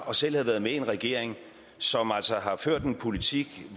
og selv havde været med i en regering som har ført en politik